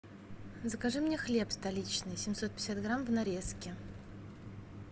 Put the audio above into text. закажи мне хлеб столичный семьсот пятьдесят грамм в нарезке